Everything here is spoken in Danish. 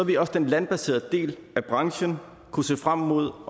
ville også den landbaserede del af branchen kunne se frem mod